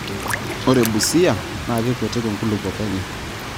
Ore Busia NAA keikutik nkulupuok enye.